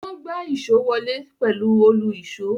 Wọ́n gbá èso náà wọlé pẹ̀lú òlu-ìsó.